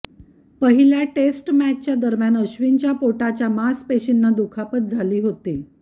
पहिल्या टेस्ट मॅचदरम्यान अश्विनच्या पोटाच्या मांसपेशींना दुखापत झाली होती